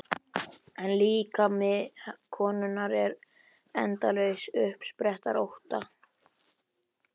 En líkami konunnar er endalaus uppspretta ótta.